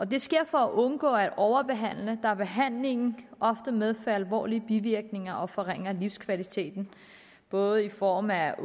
det sker for at undgå at overbehandle da behandlingen ofte medfører alvorlige bivirkninger og forringer livskvaliteten både i form af